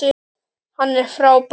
Hann er frábær.